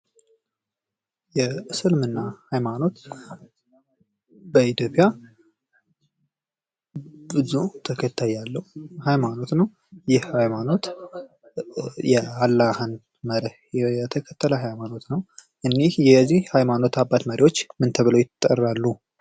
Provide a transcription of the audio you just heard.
የእስልምና ሃይማኖት በኢትዮጵያ ብዙ ተከታይ ያለው ሃይማኖት ነው። ይህ ሃይማኖት የአላህን መርህ የተከተለ ሃይማኖት ነው። እኒህ የዚህ ሃይማኖት አባት መሪዎች ምን ተብሎ ይጠራሉ?